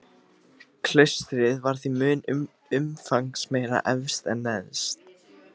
Klaustrið var því mun umfangsmeira efst en neðst.